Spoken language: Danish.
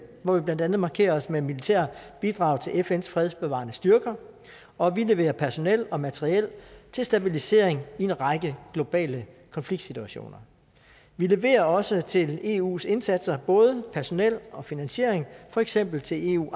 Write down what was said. hvor vi blandt andet markerer os med militære bidrag til fns fredsbevarende styrker og vi leverer personel og materiel til stabilisering i en række globale konfliktsituationer vi leverer også til eus indsatser både personale og finansiering for eksempel til eus